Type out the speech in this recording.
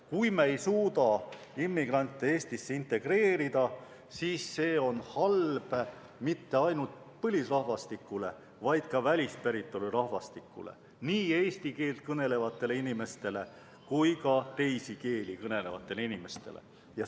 Kui me ei suuda immigrante Eestisse integreerida, siis ei ole see halb mitte ainult põlisrahvastikule, vaid ka välispäritolu rahvastikule, nii eesti keelt kõnelevatele inimestele kui ka teisi keeli kõnelevatele inimestele.